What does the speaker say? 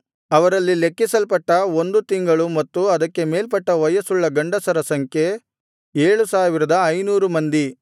ಅವರಲ್ಲಿ ಲೆಕ್ಕಿಸಲ್ಪಟ್ಟ ಒಂದು ತಿಂಗಳು ಮತ್ತು ಅದಕ್ಕೆ ಮೇಲ್ಪಟ್ಟ ವಯಸ್ಸುಳ್ಳ ಗಂಡಸರ ಸಂಖ್ಯೆ 7500 ಮಂದಿ